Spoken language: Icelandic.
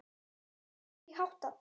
Hvernig var því háttað?